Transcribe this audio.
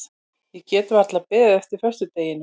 Ég get varla beðið eftir föstudeginum.